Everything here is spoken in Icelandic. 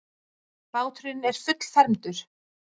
Báturinn er fullfermdur.